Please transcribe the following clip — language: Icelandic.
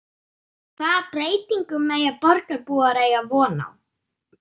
En hvaða breytingum mega borgarbúar eiga von á?